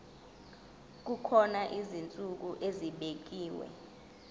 kukhona izinsuku ezibekiwe